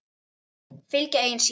Fylgja eigin sýn.